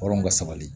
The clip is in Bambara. Hɔrɔn ka sabali